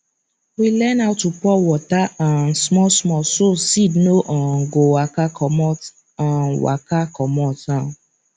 we learn how to pour water um small small so seed no um go waka commot um waka commot um